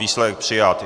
Výsledek: Přijat.